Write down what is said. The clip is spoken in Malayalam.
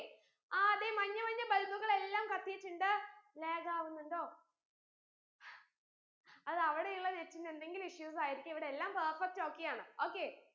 ആ അതെ മഞ്ഞ മഞ്ഞ bulb കളെല്ലാം കത്തിട്ടുണ്ട് lag ആവുന്നിണ്ടോ അത് അവിടയുള്ള net ന് എന്തെങ്കിലും issues ആയിരിക്കും ഇവിടെയെല്ലാം perfect okay യാണ് okay